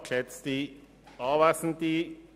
Kommissionspräsident der FiKo.